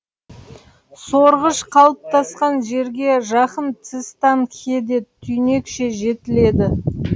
сорғыш қалыптасқан жерге жақын цистанхеде түйнекше жетіледі